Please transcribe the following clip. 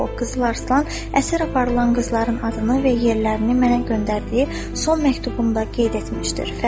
O qızlar İslam əsər aparılan qızların adını və yerlərini mənə göndərdiyi son məktubumda qeyd etmişdir.